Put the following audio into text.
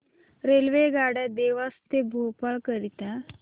रेल्वेगाड्या देवास ते भोपाळ करीता